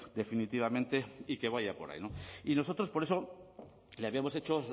definitivamente y que vaya por ahí no y nosotros por eso le habíamos hecho